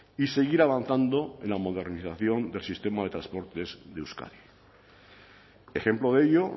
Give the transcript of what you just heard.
y seguir avanzando en la modernización del sistema de transportes de euskadi ejemplo de ello